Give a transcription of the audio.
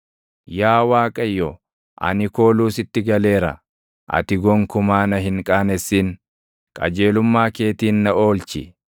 Yaa Waaqayyo, ani kooluu sitti galeera; ati gonkumaa na hin qaanessin; qajeelummaa keetiin na oolchi.